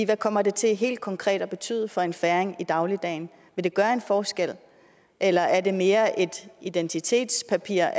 hvad kommer det til helt konkret at betyde for en færing i dagligdagen vil det gøre en forskel eller er det mere et identitetspapir